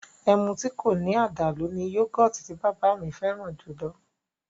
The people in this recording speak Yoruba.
Ẹmu tí kò ní àdàlú ni yọ́gọ̀tì tí bàbá mi fẹ́ràn jùlọ